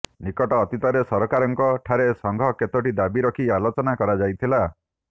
ନିକଟ ଅତୀତରେ ସରକାରଙ୍କ ଠାରେ ସଂଘ କେତୋଟି ଦାବି ରଖି ଆଲୋଚନା କରାଯାଇଥିଲା